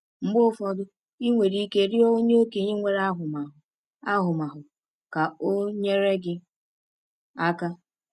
Mgbe ụfọdụ, i nwere ike ịrịọ onye okenye nwere ahụmahụ ahụmahụ ka o nyere gị aka.